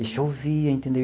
E chovia, entendeu?